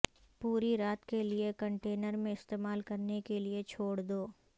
پوری رات کے لئے کنٹینر میں استعمال کرنے کے لئے چھوڑ دو